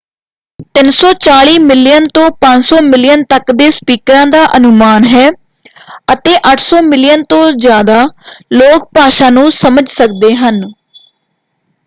340 million ਤੋਂ 500 million ਤੱਕ ਦੇ ਸਪੀਕਰਾਂ ਦਾ ਅਨੁਮਾਨ ਹੈ ਅਤੇ 800 ਮਿਲੀਅਨ ਤੋਂ ਜ਼ਿਆਦਾ ਲੋਕ ਭਾਸ਼ਾ ਨੂੰ ਸਮਝ ਸਕਦੇ ਹਨ।